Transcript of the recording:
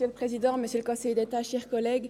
Grossrätin Riesen wurde direkt angesprochen.